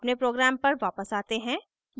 अपने program पर वापस आते हैं